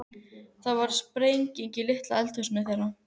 Það varð sprenging í litla eldhúsinu þeirra.